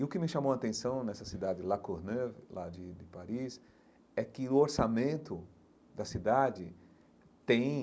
E o que me chamou a atenção nessa cidade de La Courneuve, lá de de Paris, é que o orçamento da cidade tem,